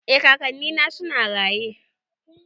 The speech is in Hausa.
Eh kakanni na suna raye